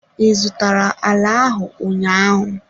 Ị zụtara ala ahụ ụnyaahụ?